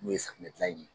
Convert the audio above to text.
N'o ye safinɛ gilan in ye